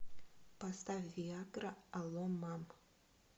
поставь виа гра алло мам